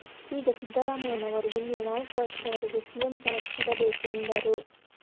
ಈಗ ಸಿದ್ದರಾಮಯ್ಯನವರು ಮುಂದಿನ ನಾಲ್ಕು ವರ್ಷದವರೆಗೆ ಸಿಎಂ ಕನಸ್ಸು ಬಿಡಬೇಕು ಎಂದರು